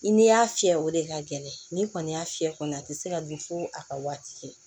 I ni y'a fiyɛ o de ka gɛlɛn ni kɔni y'a fiyɛ kɔni a ti se ka dun fo a ka waati kɛ